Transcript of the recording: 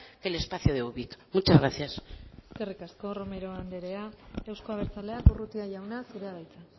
que el espacio de ubik muchas gracias eskerrik asko romero andrea euzko abertzaleak urrutia jauna zurea da hitza